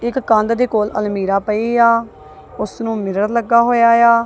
ਇੱਕ ਕੰਧ ਦੇ ਕੋਲ ਅਲਮੀਰਾ ਪਈ ਆ ਓਸ ਨੂੰ ਮਿਰਰ ਲੱਗਾ ਹੋਇਆ ਏ ਆ।